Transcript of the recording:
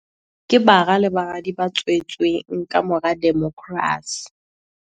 Ke bara le baradi ba tswe tsweng kamora demokrasi.